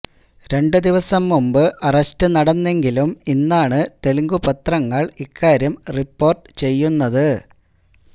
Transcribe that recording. രണ്ട് ദിവസം മുമ്പ് അറസ്റ്റ് നടന്നെങ്കിലും ഇന്നാണ് തെലുഗു പത്രങ്ങള് ഇക്കാര്യം റിപ്പോര്ട്ട് ചെയ്യുന്നത്